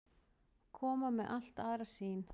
Koma með allt aðra sýn